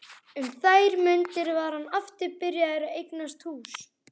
Um þær mundir var hann aftur byrjaður að eignast hús.